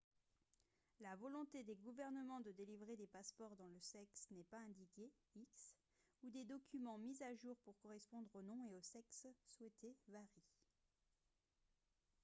la volonté des gouvernements de délivrer des passeports dont le sexe n'est pas indiqué x ou des documents mis à jour pour correspondre au nom et au sexe souhaités varie